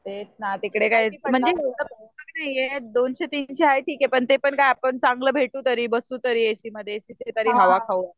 तेच ना तिकडे काय, म्हणजे दोनशे तीनशे आहे ठीक ये पण ते पण काय आपण चांगलं भेटू तरी बसू तरी एसीमध्ये एसीची तरी हवा खाऊ.